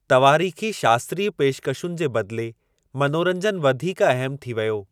तवारीख़ी शास्त्रीय पेशकशुनि जे बदले मनोरंजन वधीक अहमु थी वयो।